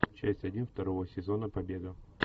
часть один второго сезона побега